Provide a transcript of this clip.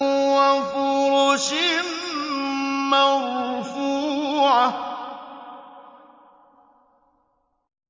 وَفُرُشٍ مَّرْفُوعَةٍ